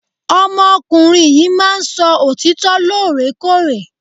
Ọmọ ọkùnrin yìí máà ń sọ òtítọ lore kore.